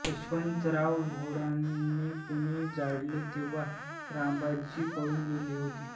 यशवंतराव होळकराने पुणे जाळले तेव्हा रावबाजी पळून गेले होते